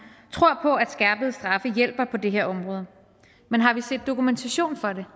tror på at skærpede straffe hjælper på det her område men har vi set dokumentation for det